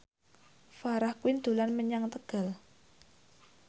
Farah Quinn dolan menyang Tegal